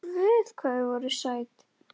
Guð hvað þið voruð sæt!